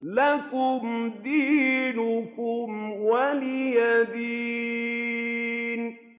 لَكُمْ دِينُكُمْ وَلِيَ دِينِ